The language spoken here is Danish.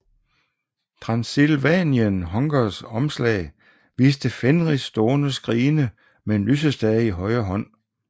Transilvanian Hungers omslag viste Fenriz stående skrigende med en lysestage i højre hånd